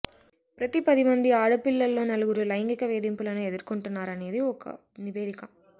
ప్ర్రతి పదిమంది ఆడపిల్లల్లో నలుగురు లైంగిక వేధింపులను ఎదుర్కుంటున్నారనేది ఒక నివేదిక